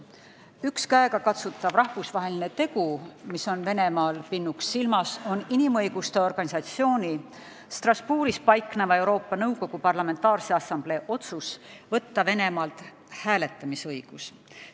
Üks käegakatsutav rahvusvaheline tegu, mis on Venemaale pinnuks silmas, on inimõiguste organisatsiooni, Strasbourgis paikneva Euroopa Nõukogu Parlamentaarse Assamblee otsus võtta Venemaalt hääletamisõigus.